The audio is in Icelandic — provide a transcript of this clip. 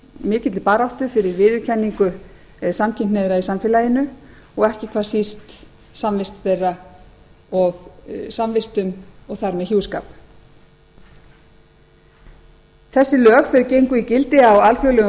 mikilli baráttu fyrir viðurkenningu samkynhneigðra í samfélaginu og ekki hvað síst samvistum þeirra og þar með hjúskap þessi lög gengu í gildi á alþjóðlegum